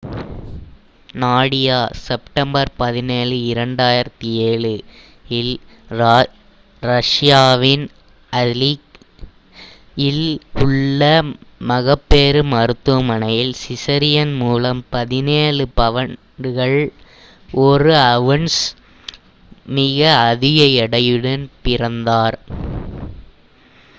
Nadia September 17 2007 இல் ரஷியாவின் Aleysk இல் உள்ள மகப்பேறு மருத்துவமனையில் சிசேரியன் மூலம் 17 பவுண்டுகள் 1 அவுன்ஸ் மிக அதிக எடையுடன் பிறந்தார்